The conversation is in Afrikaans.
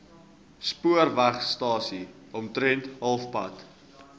spoorwegstasie omtrent halfpad